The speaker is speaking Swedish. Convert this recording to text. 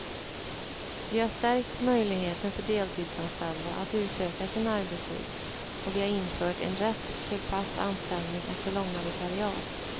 Vi har stärkt möjligheten för deltidsanställda att utöka sin arbetstid, och vi har infört en rätt till fast anställning efter långa vikariat.